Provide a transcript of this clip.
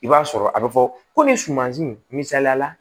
I b'a sɔrɔ a bɛ fɔ komi sumansi misaliyala